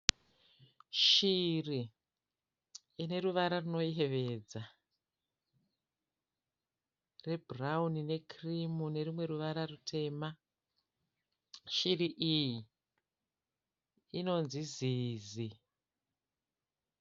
Shiri, ineruvara runoyevedza. Rebhurawuni nekirimu nurumwe ruvara rutema. Shiri iyi inonzi zizi.